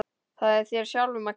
Það er þér sjálfum að kenna.